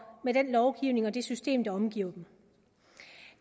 med den lovgivning og det system der omgiver dem